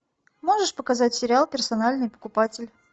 можешь показать сериал персональный покупатель